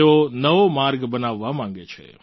તેઓ નવો માર્ગ બનાવવા માગે છે